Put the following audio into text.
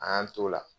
An y'an t'o la